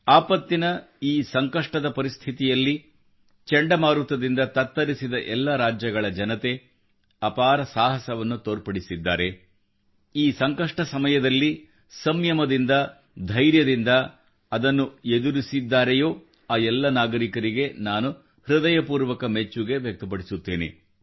ಆಪತ್ತಿನ ಈ ಸಂಕಷ್ಟದ ಪರಿಸ್ಥಿತಿಯಲ್ಲಿ ಚಂಡಮಾರುತದಿಂದ ತತ್ತರಿಸಿದ ಎಲ್ಲ ರಾಜ್ಯಗಳ ಜನತೆ ಅಪಾರ ಸಾಹಸವನ್ನು ತೋರ್ಪಡಿಸಿದ್ದಾರೆ ಈ ಸಂಕಷ್ಟ ಸಮಯದಲ್ಲಿ ಸಂಮಯದಿಂದ ಧೈರ್ಯದಿಂದ ಅದನ್ನು ಎದುರಿಸಿದ್ದಾರೆಯೋ ಆ ಎಲ್ಲ ನಾಗರಿಕರಿಗೆ ನಾನು ಹೃದಯಪೂರ್ವಕ ಮೆಚ್ಚುಗೆ ವ್ಯಕ್ತಪಡಿಸುತ್ತೇನೆ